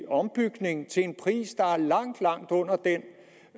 ombygning til en pris der er langt langt under den